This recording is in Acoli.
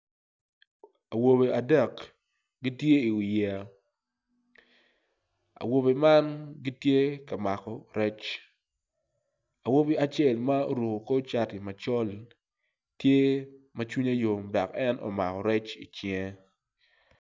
Awobe adek gitye i wi yeya awobe man gitye ka mako rec awobi acel ma oruko kor cati macol tye ma cwinye yom dok en omako rec i cinge.